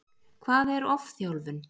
Hvað er ofþjálfun?